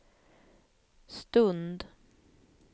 stund